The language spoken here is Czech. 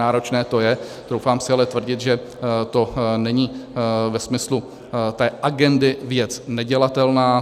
Náročné to je, troufám si ale tvrdit, že to není ve smyslu té agendy věc nedělatelná.